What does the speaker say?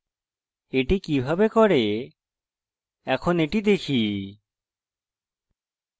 এটি কিভাবে করে এখন এটি দেখি